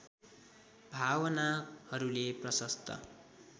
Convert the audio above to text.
भावनाहरूले प्रशस्त